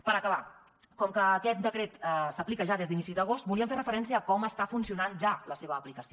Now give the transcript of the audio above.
per acabar com que aquest decret s’aplica ja des d’inicis d’agost volíem fer referència a com està funcionant ja la seva aplicació